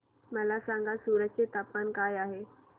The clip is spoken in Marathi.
मला सांगा सूरत चे तापमान काय आहे